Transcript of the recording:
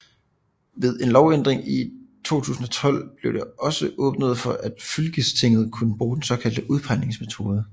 Ved en lovændring i 2012 blev det også åbnet for at fylkestinget kunne bruge den såkaldte udpegingsmetode